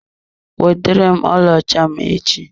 Weterem ọlaọcha m echi!